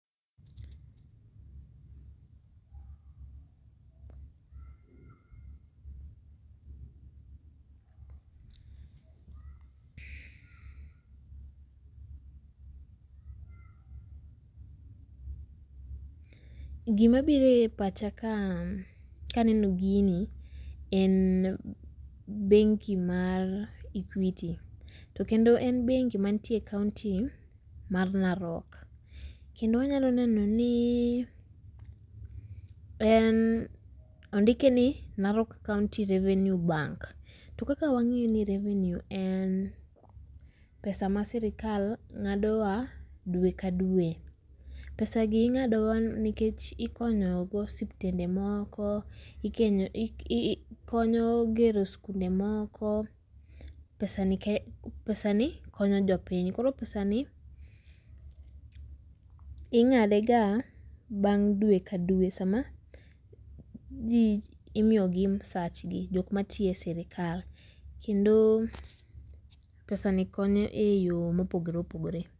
Gima biro e pacha kaa kaneno gini en bengi mar Equity to kendo en bengi mantie e kaunti mar Narok kendo wanyalo neno ni en ondike ni Narok County Revenue Bank to kaka wang'eyo ni revenue en pesa ma sirikal ng'adowa dwe ka dwe. pesagi ing'adowa nikech ikonyogo osiptende moko, ? gero skunde moko, pesa pesani konyo jopiny. Koro pesani ing'adega bang' dwe ka dwe sama ji imiyogi msachgi jok matiyo e sirikal kendo pesani konyo eyo mopogore opogore.